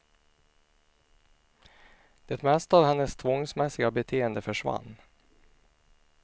Det mesta av hennes tvångsmässiga beteende försvann.